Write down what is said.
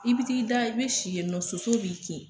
I b'i t'i da, i bɛ si yen nɔ sosow b'i kin.